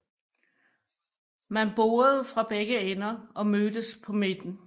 Man borede fra begge ender og mødtes på midten